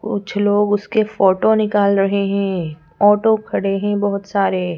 कुछ लोग उसके फोटो निकाल रहे हैं ऑटो खड़े हैं बहुत सारे--